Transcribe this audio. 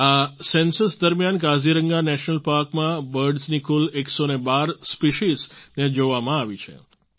આ સેન્સસ દરમિયાન કાઝીરંગા નેશનલ પાર્કમાં બર્ડ્સ ની કુલ 112 સ્પેસીઝ ને જોવામાં આવી છે